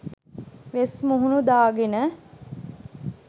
වෙස් මුහුණු දාගෙන